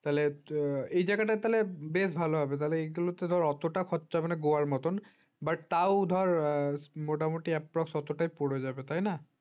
তাহলে এই জায়গাটা তাহলে বেশ ভালো হবে তাহলে এগুলোতে বেশ অতটা খরচা হবে না গোয়ার মতন তাও ধরার approximate মোটামুটি অতটাই পড়ে যাবে তাই না?